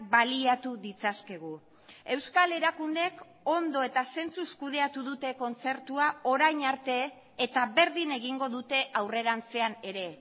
baliatu ditzakegu euskal erakundeek ondo eta zentzuz kudeatu dute kontzertua orain arte eta berdin egingo dute aurrerantzean ere